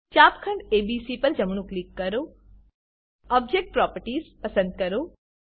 ચાપખંડ ABC પર જમણું click કરો ઓબ્જેક્ટ પ્રોપર્ટીઝ પસંદ કરો